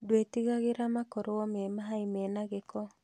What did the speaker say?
Ndwĩtigagĩra makorwo me mĩa mena gĩko